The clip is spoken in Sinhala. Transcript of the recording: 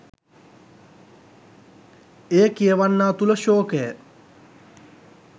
එය කියවන්නා තුළ ශෝකය